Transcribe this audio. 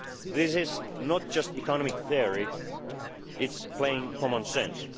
get stronger. This is not just economic theory, it is plain